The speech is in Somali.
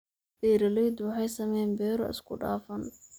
Beeraleydu waxay sameeyaan beero isku dhafan.